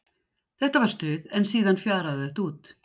Þetta var stuð en síðan fjaraði þetta út.